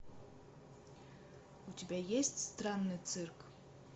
у тебя есть странный цирк